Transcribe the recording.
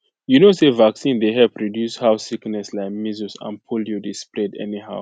you know say vaccine dey help reduce how sickness like measles and polio dey spread anyhow